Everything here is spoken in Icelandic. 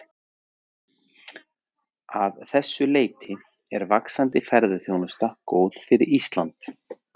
Að þessu leyti er vaxandi ferðaþjónusta góð fyrir Ísland.